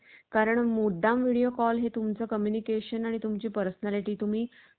आंतरजालावर मक्तेदारी गाजवणाऱ्या गुगलनेही या स्पर्धेला पुरून उरण्याच्या हालचाली सुरु केल्या आहेत. company ने आपलं